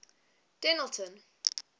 dennilton